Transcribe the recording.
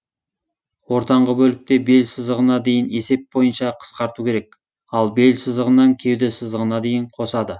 ортаңғы бөлікте бел сызығына дейін есеп бойынша қысқарту керек ал бел сызығынан кеуде сызығына дейін қосады